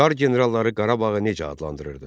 Çar generalları Qarabağı necə adlandırırdı?